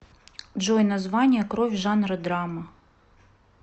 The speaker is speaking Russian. джой название кровь жанр драма